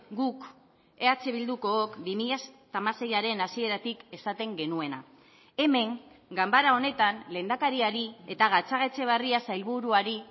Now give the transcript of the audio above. guk eh bildukook bi mila hamaseiaren hasieratik esaten genuena hemen ganbara honetan lehendakariari eta gatzagaetxebarria sailburuari